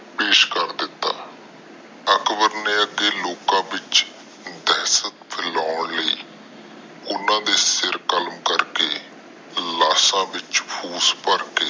ਪੇਸ਼ ਕਰ ਦਿਤਾ ਅਕਬਰ ਨੇ ਅਗੇ ਲੋਕਾਂ ਵਿਚ ਦਹਿਸ਼ਤ ਫਲਾਂ ਲਾਇ ਓਹਨਾ ਦੇ ਸਰ ਕਲਾਮ ਕਰਕੇ ਲਾਸ਼ ਵਿਚ ਭੂਸ਼ ਭਰ ਕੇ